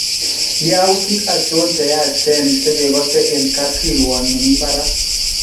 Yautik achon cheyachen chekekose en kapkirwon nemii barak